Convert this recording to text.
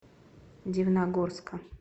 дивногорска